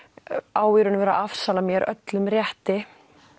á í raun og veru að afsala mér öllum rétti